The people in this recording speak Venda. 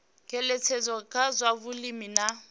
ngeletshedzo kha zwa vhulimi na